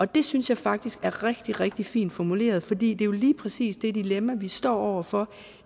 det synes jeg faktisk er rigtig rigtig fint formuleret for det er jo lige præcis det dilemma vi står over for